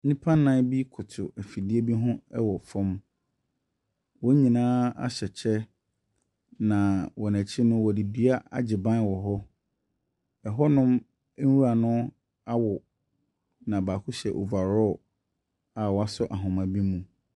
Nnipa nnan bi koto afidie bi ho ɛwɔ fam. Wɔn nyinaa ahyɛ kyɛ na wɔn akyi no, ɔde dua agye ban wɔ hɔ. Ɛhɔnom nwura no awo na baako hyɛ overall a woasɔ ahoma bi mu.